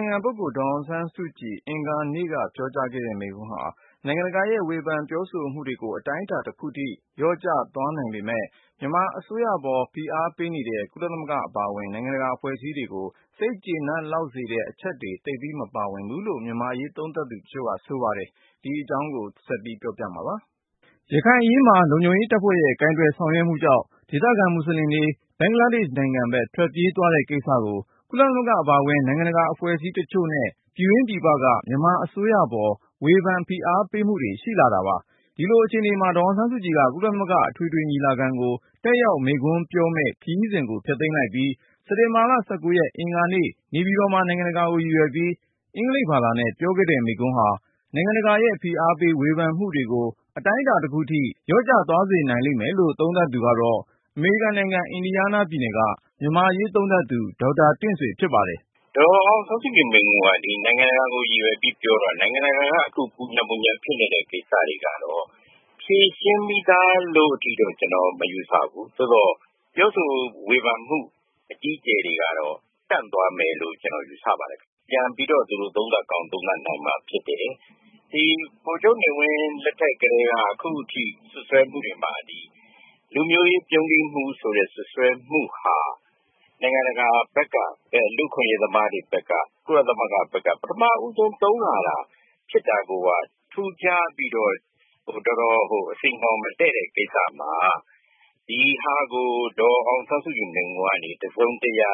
င်ခံပုဂ္ဂိုလ် ဒေါ်အောင်ဆန်းစုကြည် အင်္ဂါနေ့က ပြောကြားတဲ့ မိန့်ခွန်းဟာ နိုင်ငံတကာရဲ့ဝေဖန်ပြောဆိုမှုတွေကို အတိုင်းအတာ တခုထိ လျှော့ကျသွားနိုင်ပေမယ့်၊ မြန်မာအစိုးရကို ဖိအားပေးနေကြတဲ့ ကုလသမဂ္ဂအပါအဝင် အခြားနိုင်ငံတကာအဖွဲ့အစည်းတွေကို စိတ်ကျေနပ်စေလောက်တဲ့ အချက်အလက်တွေ သိပ်ပြီး မပါဝင်ဘူးလို့ အမေရိကန်မှာရှိကြတဲ့ မြန်မာ့အရေးသုံးသပ်သူတွေက ဆိုပါတယ်။ ကိုဉာဏ်ဝင်းအောင်က စုစည်းတင်ပြထား ပါတယ်။ ရခိုင်အရေးမှာ လုံခြုံရေးတပ်ဖွဲ့ရဲ့ ကိုင်တွယ်ဆောင်ရွက်မှုကြောင့် ဒေသခံမွတ်ဆလင်တွေ ဘင်္ဂလားဒေ့ရှ်နိုင်ငံဘက် ထွက်ပြေးသွားတဲ့ကိစ္စကို ကုလသမဂ္ဂ အပါအဝင် နိုင်ငံတကာအဖွဲ့အစည်းတချို့နဲ့ ပြည်တွင်းပြည်ပက မြန်မာအစိုးရပေါ် ဝေဖန်ဖိအားပေး မှုတွေရှိလာတာပါ။ ဒီလိုအခြေအနေမှာ ဒေါ်အောင်ဆန်းစုကြည်က ကုလသမဂ္ဂ အထွေထွေညီလာခံကို တက်ရောက်မိန့်ခွန်းပြောခွင့်မယ့် ခရီးစဉ်ကိုဖျက်လိုက်ပြီး စက်တင်ဘာ ရက် အင်္ဂါနေ့ နေပြည်တော်မှာ နိုင်ငံတကာကို ရည်ရွယ်ပြီး အင်္ဂလိပ်ဘာသာနဲ့ ပြောခဲ့တဲ့မိန့်ခွန်းဟာ နိုင်ငံတကာရဲ့ ဖိအားပေး ဝေဖန်မှုတွေကို အတိုင်းအတာ တခုထိ လျှော့ကျသွားစေနိုင်တယ်လို့ သုံးသပ်သူကတော့ အမေရိကန်နိုင်ငံ အင်ဒီယားနား ပြည်နယ်က မြန်မာ့အရေးသုံးသပ်သူ ဒေါက်တာ တင့်ဆွေ ဖြစ်ပါတယ်။ “ ဒေါ်အောင်ဆန်းစုကြည် မိန့်ခွန်းက ဒီ နိုင်ငံတကာကို ရည်ရွယ်ပြီး ပြောတာ။ နိုင်ငံတကာက ပူညံ ပူညံ ဖြစ်နေတဲ့ ကိစ္စတွေကတော့ ဖြေရှင်းပြီးသား လို့ထိတော့ ကျနော် မယူဆဘူး။ သို့သော် ပြောဆိုဝေဖန်မှု အကြီးအကျယ်တွေ ကတော့ တန့်သွားမယ်လို့ ကျနော် ယူဆပါတယ်။ ပြန်ပြီးတော့ သူတို့ သုံးသပ်ကောင်း သုံးသပ်နိုင်မှာ ဖြစ်တယ်။ ဒီ ဗိုလ်ချုပ်နေဝင်း လက်ထက် ကတည်းက အခုထိ စွပ်စွဲမှုတွေမှာ လူမျိုးရေး ပြုန်းတီးမှု ဆိုတဲ့ စွပ်စွဲမှုဟာ နိုင်ငံတကာဘက်က လူ့အခွင့်အရေးသမားတွေဘက်က ကုလသမဂ္ဂဘက်က ပထမ ဦးဆုံး သုံးလာတာ ဖြစ်တာကိုက ထူးခြားပြီးတော့ တော်တော် အဆီအငေါ် မတည့်တဲ့ ကိစ္စမှာ ဒီဟာကို ဒေါ်အောင်ဆန်းစုကြည် မိန့်ခွန်းကနေ တစုံတရာ